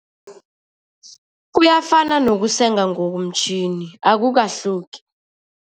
Kuyafana nokusenga ngokomtjhini, akukahluki.